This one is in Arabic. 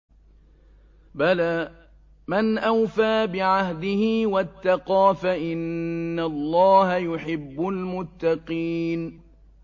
بَلَىٰ مَنْ أَوْفَىٰ بِعَهْدِهِ وَاتَّقَىٰ فَإِنَّ اللَّهَ يُحِبُّ الْمُتَّقِينَ